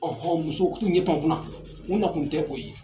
muso u k'u ɲɛ pan u kun na u nakun tɛ o ye.